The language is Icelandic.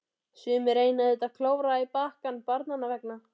Sumir reyna auðvitað að klóra í bakkann barnanna vegna.